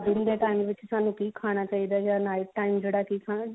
ਦਿਨ ਦੇ time ਵਿੱਚ ਸਾਨੂੰ ਕੀ ਖਾਣਾ ਚਾਹੀਦਾ ਜਾਂ night time ਜਿਹੜਾ ਕੀ ਖਾਣਾ ਚਾਹੀਦਾ